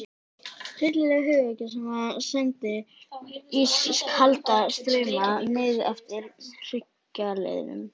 Hryllileg hugvekja sem sendi ískalda strauma niðreftir hryggjarliðunum.